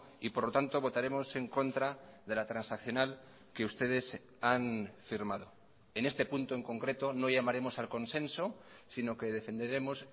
y por lo tanto votaremos en contra de la transaccional que ustedes han firmado en este punto en concreto no llamaremos al consenso sino que defenderemos